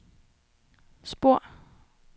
spor